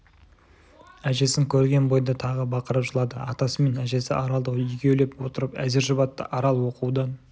әжесін көрген бойда тағы бақырып жылады атасы мен әжесі аралды екеулеп отырып әзер жұбатты арал оқудан